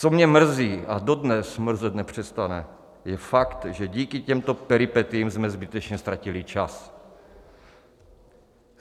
Co mě mrzí a dodnes mrzet nepřestane, je fakt, že díky těmto peripetiím jsme zbytečně ztratili čas.